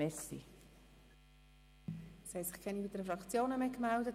Es haben sich keine weiteren Fraktionen mehr gemeldet.